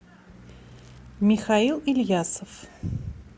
михаил ильясов